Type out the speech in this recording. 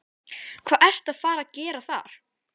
Hvað ertu að fara að gera þar?